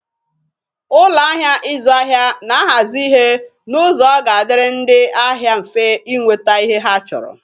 Ụlọ ahịa ịzụ ahịa na-ahazi ihe n'ụzọ na ọ ga-adịrị ndị ahịa mfe inweta ihe ha chọrọ.